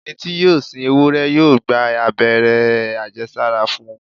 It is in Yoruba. Ẹni tí yóò sin ewúrẹ́ yóò gba abẹ́rẹ́ àjẹsára fún un.